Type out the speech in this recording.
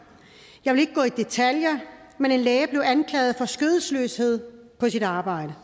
jeg vil ikke gå i detaljer men en læge blevet anklaget for skødesløshed på sit arbejde